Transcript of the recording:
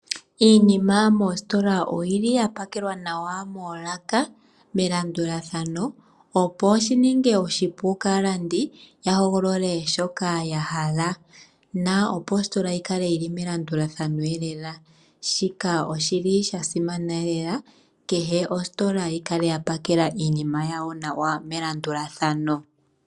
Iinima moositola oyili ya pakelwa nawa moolaka, melandulathano opo shi ninge oshipu kaalandi ya hogolole shaa shoka ya hala na opo ositola yi kale melandulathano eelela. Shika oshili sha simana eelela kehe ostola yi kale ya pakela iinima yawo nawa melandulathano.